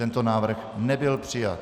Tento návrh nebyl přijat.